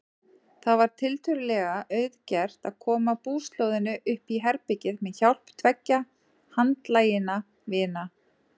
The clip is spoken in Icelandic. Það var tiltölulega auðgert að koma búslóðinni uppí herbergið með hjálp tveggja handlaginna vina.